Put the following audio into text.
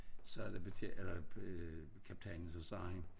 Sagde betjent eller øh kaptajnen så sagde han